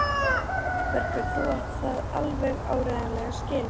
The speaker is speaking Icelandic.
Guðbergur, þú átt það alveg áreiðanlega skilið.